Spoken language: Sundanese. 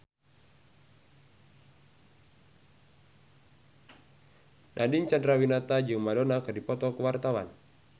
Nadine Chandrawinata jeung Madonna keur dipoto ku wartawan